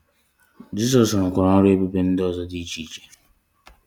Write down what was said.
Jisọs rụkwara ọrụ ebube ndị ọzọ dị iche iche.